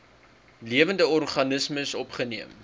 lewende organismes opgeneem